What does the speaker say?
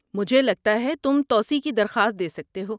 مجھے لگتا ہے تم توسیع کی درخواست دے سکتے ہو۔